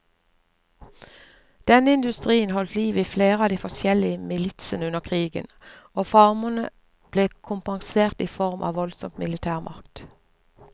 Denne industrien holdt liv i flere av de forskjellige militsene under krigen, og farmerne ble kompensert i form av voldsom militærmakt.